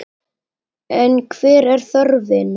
En hver er þörfin?